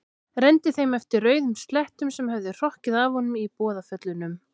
Renndi þeim eftir rauðum slettum sem höfðu hrokkið af honum í boðaföllunum.